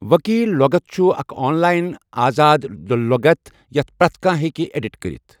وِکیٖل لۄغَتھ چھُ اَکھ آنلایِن آزاد لۄغَتھ یَتھ پرَٛتھ کانٛہہ ہێکہِ اؠڈِٹ کٔرِتھ